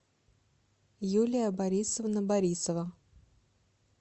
юлия борисовна борисова